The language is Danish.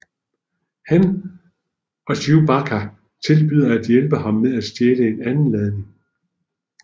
Han og Chewbacca tilbyder at hjælpe ham med at stjæle en anden ladning